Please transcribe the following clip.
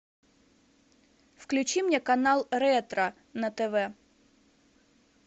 включи мне канал ретро на тв